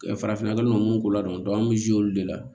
farafinna minnu ko ladɔn an bɛ olu de la